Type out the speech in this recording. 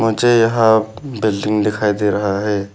मुझे यहां बिल्डिंग दिखाई दे रहा है।